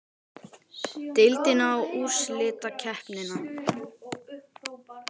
Deildina og úrslitakeppnina?